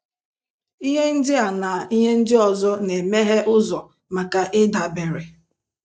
Ihe ndị a na ihe ndị ọzọ na-emeghe ụzọ maka ịdabere.